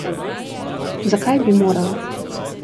Zakaj bi morala?